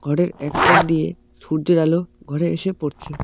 ঘরের এক কোণ দিয়ে সূর্যের আলো ঘরে এসে পড়ছে।